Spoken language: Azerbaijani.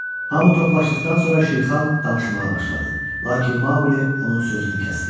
Hamı toplaşdıqdan sonra Şirxan danışmağa başladı, lakin Maqlı onun sözünü kəsdi.